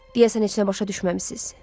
Deyəsən heç nə başa düşməmisiniz.